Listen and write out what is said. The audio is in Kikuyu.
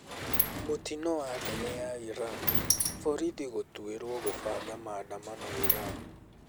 Mũtino wa ndege ya Iran: Barothi gũtuĩrwo kũbanga maandamano Iran